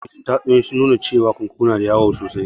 Yawancin tatsuniyoyi sun nuna cewa kunkuru yana da wayo sosai